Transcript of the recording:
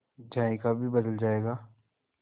जायका भी बदल जाएगा